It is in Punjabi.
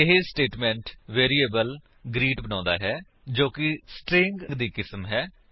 ਇਹ ਸਟੇਟਮੇਂਟ ਵੇਰਿਏਬਲ ਗ੍ਰੀਟ ਬਣਾਉਂਦਾ ਹੈ ਜੋ ਕਿ ਸਟ੍ਰਿੰਗ ਦੀ ਕਿਸਮ ਹੈ